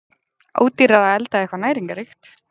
Ódýrara að elda eitthvað næringarríkt!